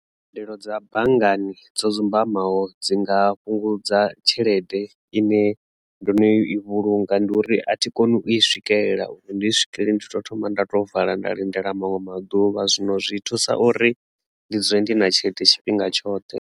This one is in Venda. Mbadelo dza banngani dzo dzumbamaho dzi nga fhungudza tshelede ine ndo no i vhulunga ndi uri a thi koni u i swikelela uri ndi swikelele ndi to thoma nda to vala nda lindela manwe maḓuvha zwino zwi thusa uri ndi dzule ndi na tshelede tshifhinga tshoṱhe.